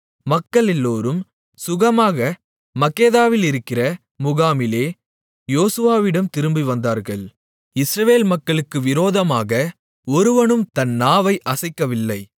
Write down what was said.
மக்களெல்லோரும் சுகமாக மக்கெதாவிலிருக்கிற முகாமிலே யோசுவாவிடம் திரும்பிவந்தார்கள் இஸ்ரவேல் மக்களுக்கு விரோதமாக ஒருவனும் தன் நாவை அசைக்கவில்லை